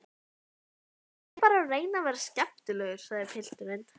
Ég er bara að reyna að vera skemmtilegur, sagði pilturinn.